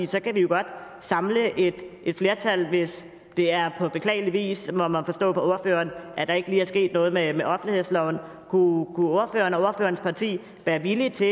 kan vi jo godt samle et flertal hvis det er på beklagelig vis må man forstå på ordføreren at der ikke er sket noget med offentlighedsloven og ordførerens parti være villige til